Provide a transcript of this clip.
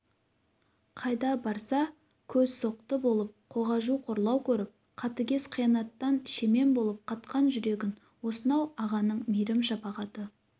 қайда барса көз соқты болып қағажу қорлау көріп қатыгез қиянаттан шемен болып қатқан жүрегін осынау ағаның мейірім-шапағаты